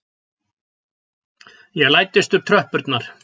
Ég læddist upp tröppurnar.